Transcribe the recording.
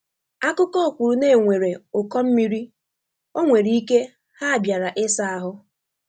Akụkọ kwuru na enwere ụkọ mmiri, onwere ike ha bịara isa ahu